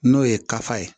N'o ye kafa ye